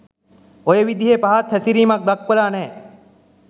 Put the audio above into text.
ඔය විදිහෙ පහත් හැසිරීමක් දක්වලා නෑ.